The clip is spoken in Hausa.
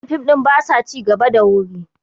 wannan fim ɗin ba sa ci gaba da wuri